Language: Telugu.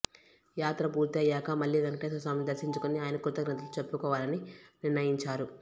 యాత్ర పూర్తి అయ్యాక మళ్లీ వెంకటేశ్వర స్వామిని దర్శించుకుని ఆయనకు కృతజ్ఞతలు చెప్పుకోవాలని నిర్ణయించారు